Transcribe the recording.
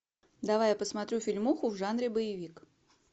давай я посмотрю фильмуху в жанре боевик